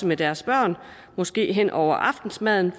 med deres børn måske hen over aftensmaden